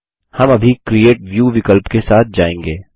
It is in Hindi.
हम अभी क्रिएट व्यू विकल्प के साथ जाएँगे